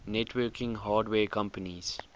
networking hardware companies